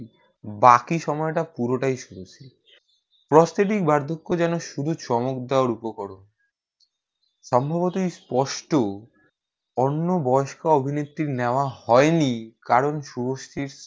বাকি সময়টা পুরোটাই শুভশ্রীর prosthetic বার্ধক্য যেন শুধু চমক দেওয়ার উপকরণ সম্ভবতই স্পষ্ট অন্য বয়স্কা অভিনেত্রি নেয়া হয়নি কারণ শুভশ্রীর